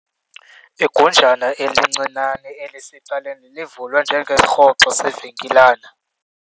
Igunjana elincinane elisecaleni livulwe njengesirhoxo sevenkilana.